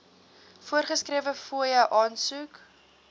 voorgeskrewe fooie aansoek